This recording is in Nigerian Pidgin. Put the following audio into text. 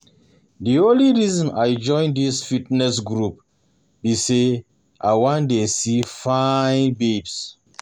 The only reason I join dis fitness group be say I wan dey see fine babes